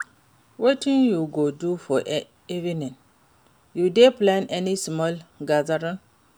Wetin you go do for evening? You dey plan any small gathering?